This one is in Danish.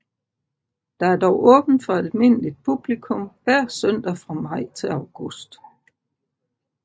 Der er dog åbent for almindeligt publikum hver søndag fra maj til august